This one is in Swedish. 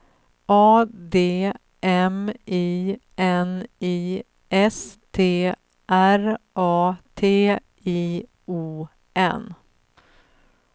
A D M I N I S T R A T I O N